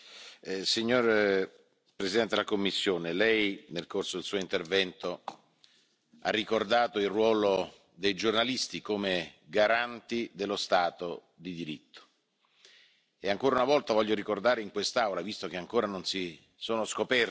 but his considerations deserve careful examination. Obviously, he touched upon issues that are at the centre of our attention. But let me turn to something else at the outset. I would like to stress that I fully second what President Juncker stated at the beginning of his speech.